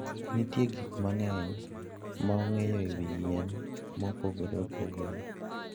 Nitie gik mang'eny ma ong'eyo e wi yien mopogore opogore.